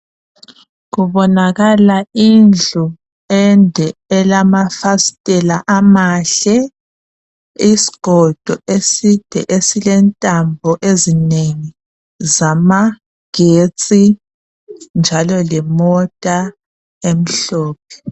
Kubonakala indlu ende elamafasitela amahle isigodo eside esilentambo ezinengi zamagetsi njalo lemota emhlophe.